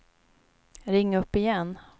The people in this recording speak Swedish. ring upp igen